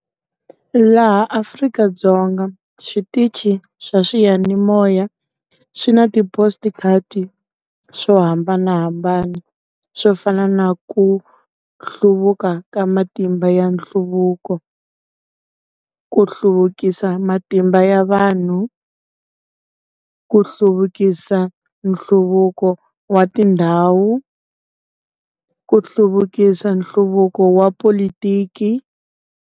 Laha Afrika-Dzonga switichi swa swiyanimoya swi na ti swo hambanahambana. Swo fana na ku hluvuka ka matimba ya nhluvuko, ku hluvukisa matimba ya vanhu, ku hluvukisa nhluvuko wa tindhawu, ku hluvukisa nhluvuko wa polotiki.